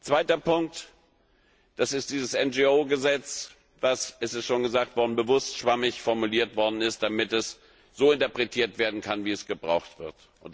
Zweiter Punkt, das ist dieses NGO Gesetz, das es ist schon gesagt worden bewusst schwammig formuliert worden ist, damit es so interpretiert werden kann, wie es gebraucht wird.